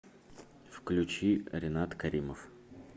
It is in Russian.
включи ринат каримов